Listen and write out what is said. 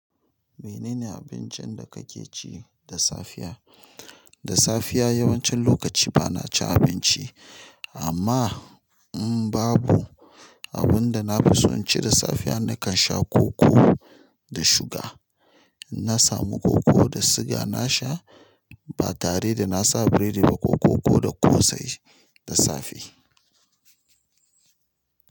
Menene abincin da kake ci da safiya? Da safiya yawancin lokaci bana cin abinci. Amma in babu abun da na fi so in ci da safiya, nakan sha koko da suga. Na samu koko da suga na sha ba tare da na sa biredi ba ko koko da ƙosai da safe.